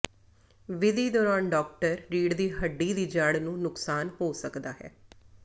ਵਿਧੀ ਦੌਰਾਨ ਡਾਕਟਰ ਰੀੜ੍ਹ ਦੀ ਹੱਡੀ ਦੀ ਜੜ੍ਹ ਨੂੰ ਨੁਕਸਾਨ ਹੋ ਸਕਦਾ ਹੈ